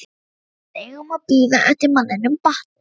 Nema við eigum að bíða eftir að manninum batni!